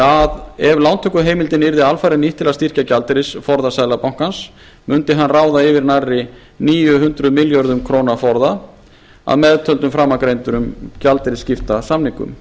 að ef lántökuheimildin yrði alfarið nýtt til að styrkja gjaldeyrisforða seðlabankans mundi hann ráða yfir nærri níu hundruð milljarða króna forða að meðtöldum framangreindum gjaldeyrisskiptasamningum